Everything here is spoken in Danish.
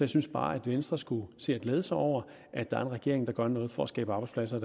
synes bare at venstre skulle se at glæde sig over at der er en regering der gør noget for at skabe arbejdspladser